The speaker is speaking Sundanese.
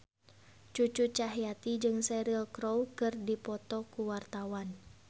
Cucu Cahyati jeung Cheryl Crow keur dipoto ku wartawan